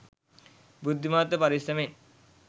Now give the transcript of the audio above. බුද්ධිමත්ව පරිස්සමින්